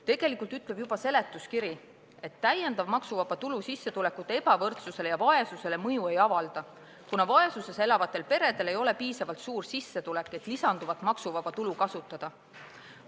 Tegelikult ütleb juba seletuskiri, et täiendav maksuvaba tulu sissetulekute ebavõrdsusele ja vaesusele mõju ei avalda, kuna vaesuses elavatel peredel ei ole piisavalt suur sissetulek, et lisanduvat maksuvaba tulu kasutada.